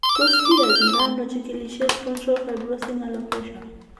Tos kiyachindo ano chikilisiet frontal fibrosing alopecia ?